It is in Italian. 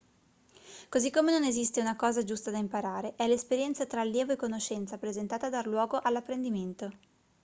così come non esiste una cosa giusta da imparare è l'esperienza tra allievo e conoscenza presentata a dar luogo all'apprendimento